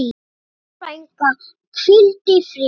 Elsku frænka, hvíldu í friði.